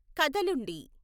కదలుండి